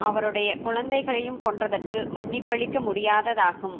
அவருடை குழந்தைகளையும் கொன்றதற்கு மன்னிப்பளிக்க முடியாததாகும்